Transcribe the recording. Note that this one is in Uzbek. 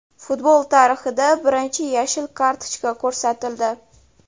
Futbol tarixida birinchi yashil kartochka ko‘rsatildi.